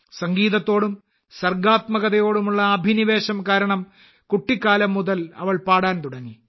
സംഗീതത്തോടും സർഗാത്മകതയോടുമുള്ള അഭിനിവേശം കാരണം കുട്ടിക്കാലം മുതൽ അവൾ പാടാൻ തുടങ്ങി